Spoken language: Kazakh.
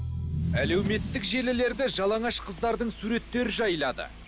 әлеуметтік желілерді жалаңаш қыздардың суреттері жайлады